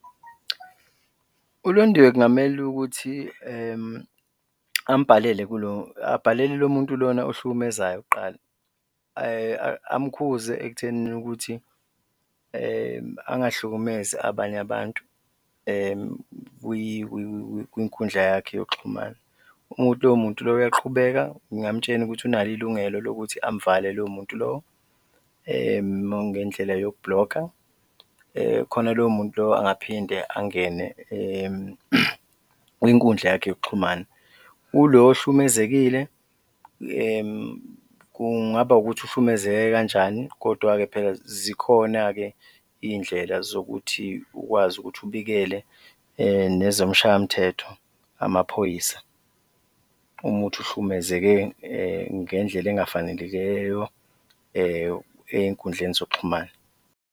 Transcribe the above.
ULondiwe kungamele ukuthi abhalele lo muntu lona ohlukumezayo kuqala, amkhuze ekuthenini ukuthi angahlukumezi abanye abantu kwinkundla yakhe yokuxhumana. Uma kuwukuthi loyo muntu loyo uyaqhubeka, ngingamtshela ukuthi unalo ilungelo lokuthi amvale loyo muntu lowo ngendlela yokublokha khona loyo muntu loyo angaphinde angene kwinkundla yakhe yokuxhumana. Kulo ohlukumezekile, kungaba ukuthi uhlukumezeke kanjani kodwa-ke phela zikhona-ke iy'ndlela zokuthi ukwazi ukuthi ubikele nezomshayamthetho, amaphoyisa uma kuwukuthi uhlukumezeke ngendlela engafanelekeyo ey'nkundleni zokuxhumana.